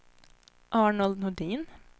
Arnold Nordin